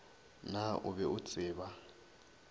naa o be o tseba